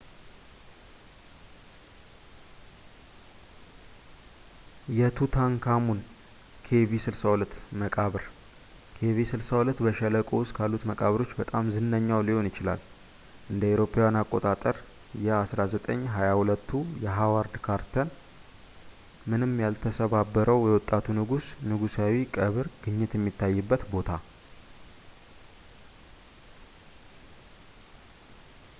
የቱታንካሙን ኬቪ62 መቃብር። kv62 በሸለቆው ውስጥ ካሉት መቃብሮች በጣም ዝነኛው ሊሆን ይችላል፣ እ.ኤ.አ. የ 1922ቱ የሃዋርድ ካርተር ምንም ያልተሰባበረው የወጣቱ ንጉስ ንጉሣዊ ቀብር ግኝት የሚታይበት ቦታ፡፡